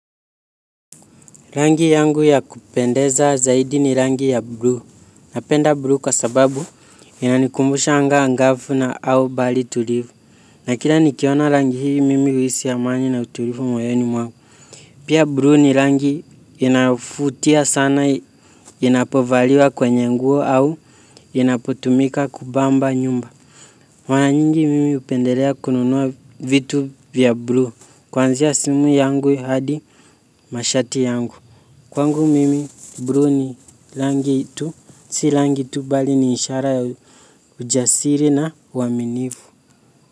Rangi yangu ya kupendeza zaidi ni rangi ya blue. Napenda blue kwa sababu inanikumbusha anga angafu na au bali tulivu. Na kila nikiona rangi hivi mimi uisi amani na utulivu moyoni mwangu. Pia blue ni rangi inayovutia sana inapovaliwa kwenye nguo au inapotumika kubamba nyumba. Mara nyingi mimi hupendelea kununua vitu vya blue. Kuanzia simu yangu hadi mashati yangu. Kwangu mimi blue ni rangi itu si rangi tu bali ni ishara ya ujasiri na uaminivu.